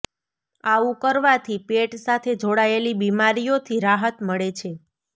આવું કરવાથી પેટ સાથે જોડાયેલી બીમારિયોથી રાહત મળે છે